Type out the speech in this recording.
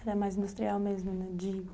Era mais industrial mesmo, né? de